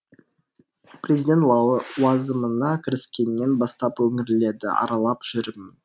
президент лауазымына кіріскеннен бастап өңірлерді аралап жүрмін